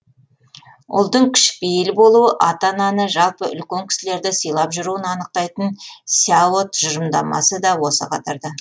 ұлдың кішіпейіл болуы ата ананы жалпы үлкен кісілерді сыйлап жүруін анықтайтын сяо тұжырымдамасы да осы қатарда